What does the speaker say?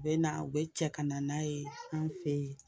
U bɛ na u bɛ cɛ ka na n'a ye an fɛ yen.